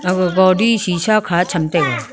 aga godi shisha ka cham taiga.